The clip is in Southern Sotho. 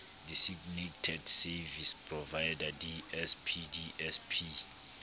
designated service provider dsp dsp